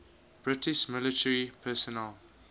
british military personnel